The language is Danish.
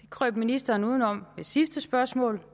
krøb ministeren udenom ved sidste spørgsmål